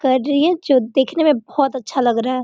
कर रही है जो देखने में बहुत अच्छा लग रहा है।